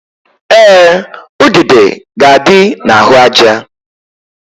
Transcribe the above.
Ee, udude ga-adị n'ahụaja